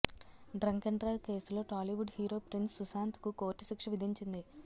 drunk drive కేసులో Tollywood hero Prince Sushanth కు court శిక్ష విధించింది